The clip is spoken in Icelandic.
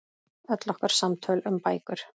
Öll okkar samtöl um bækur.